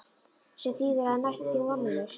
Sem þýðir að það er næstum því vonlaust.